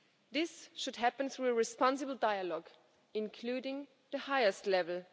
This should happen through a responsible dialogue, including at the highest level.